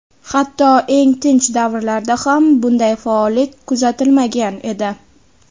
Hatto eng tinch davrlarda ham bunday faollik kuzatilmagan edi.